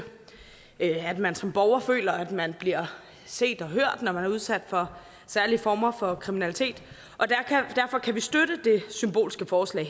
at man som borger føler at man bliver set og hørt når man udsat for særlige former for kriminalitet derfor kan vi støtte det symbolske forslag